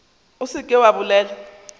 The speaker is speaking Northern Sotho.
o se ke wa bolela